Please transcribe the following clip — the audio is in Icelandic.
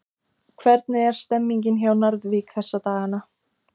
Hvernig er stemningin hjá Njarðvík þessa dagana?